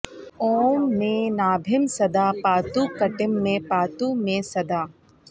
ॐ मे नाभिं सदा पातु कटिं मे पातु मे सदा